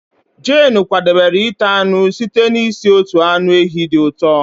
Jane kwadebere ite anụ site n'isi otu anụ ehi dị ụtọ